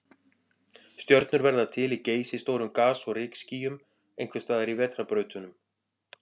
Stjörnur verða til í geysistórum gas- og rykskýjum, einhvers staðar í vetrarbrautunum.